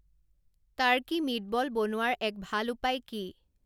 Turkey meatball বনোৱাৰ এক ভাল উপায় কি